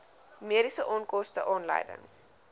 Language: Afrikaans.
mediese onkoste aanleiding